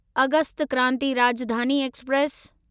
August Kranti Rajdhani express